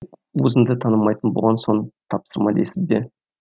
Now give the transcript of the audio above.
өзіңді танымайтын болған соң тапсырма дейсіз бе